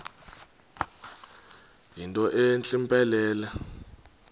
yinto entle mpelele